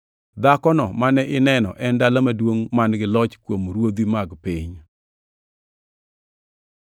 Dhakono mane ineno en e dala maduongʼ man-gi loch kuom ruodhi mag piny.”